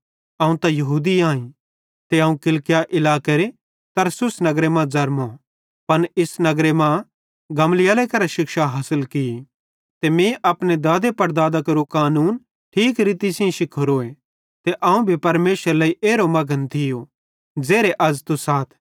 अवं त यहूदी आईं ते अवं किलिकिया इलाकेरे तरसुस नगरे मां ज़रमो पन इस नगर मां गमलीएल करां शिक्षा हासिल की ते अपने दादांपड़दादां केरे कानूने ठीक तरीके सेइं शिखोरीए ते अवं भी परमेशरेरे लेइ एरो मघन थियो ज़ेरे अज़ तुस आथ